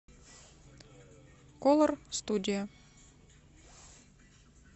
колор студия